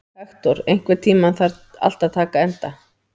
Hektor, einhvern tímann þarf allt að taka enda.